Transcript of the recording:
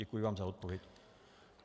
Děkuji vám za odpověď.